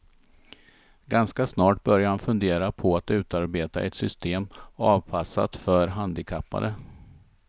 Ganska snart började han fundera på att utarbeta ett system avpassat för handikappade.